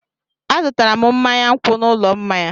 Azụtara m mmanya nkwụ n'ụlọ mmanya.